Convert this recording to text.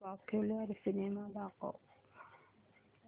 popular cinema दाखव